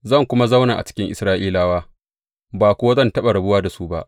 Zan kuma zauna a cikin Isra’ilawa, ba kuwa zan taɓa rabuwa da su ba.